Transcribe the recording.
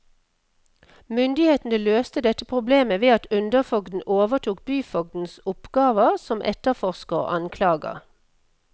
Myndighetene løste dette problemet ved at underforgden overtok byfogdens oppgaver som etterforsker og anklager.